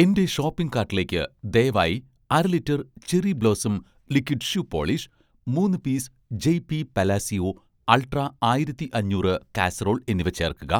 എന്‍റെ ഷോപ്പിംഗ് കാട്ടിലേക്ക് ദയവായി അര litre 'Cherry Blossom' liquid shoe polish, മൂന്ന് piece 'Jay Pee' Palacio ultra ആയിരത്തി അഞ്ഞൂറ് കാസറോൾ എന്നിവ ചേർക്കുക.